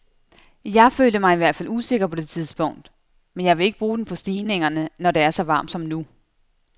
Jeg følte mig i hvert fald usikker på det tidspunkt, men jeg vil ikke bruge den på stigningerne, når det er så varmt som nu.